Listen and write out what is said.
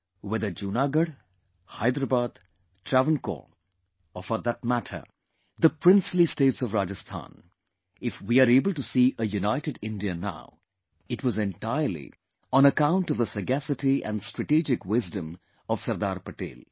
Whether Junagadh, Hyderabad, Travancore, or for that matter the princely states of Rajasthan, if we are able to see a United India now, it was entirely on account of the sagacity & strategic wisdom of Sardar Patel